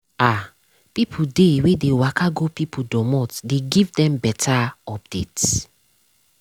ah people dey wey dey waka go people dormot dey give dem better update.